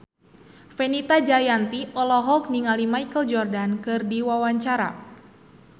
Fenita Jayanti olohok ningali Michael Jordan keur diwawancara